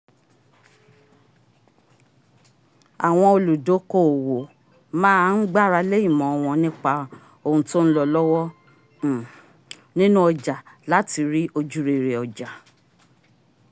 àwọn olùdókóòwò ma ń gbáralé ìmọ wọn nípa ohun tó ń lọ lọ́wọ́ um nínu ọjà láti rí ojúrere ọjà